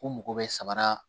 U mago bɛ samara